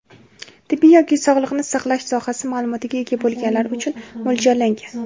tibbiy yoki sog‘liqni saqlash sohasi maʼlumotiga ega bo‘lganlar uchun mo‘ljallangan.